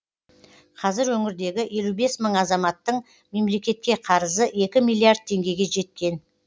қазір өңірдегі елу бес мың азаматтың мемлекетке қарызы екі миллиард теңгеге жеткен